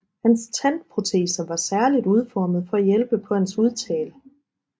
Hans tandproteser var særligt udformet for at hjælpe på hans udtale